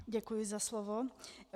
Děkuji za slovo.